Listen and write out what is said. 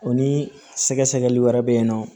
O ni sɛgɛsɛgɛli wɛrɛ bɛ yen nɔ